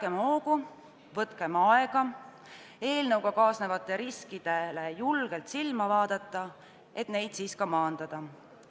Pidagem hoogu, võtkem aega eelnõuga kaasnevatele riskidele julgelt silma vaadata, et neid maandada.